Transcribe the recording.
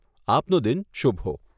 આપનો દિન શુભ હો.